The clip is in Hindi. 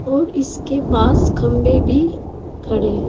और इसके पास खंभे भी खड़े हैं।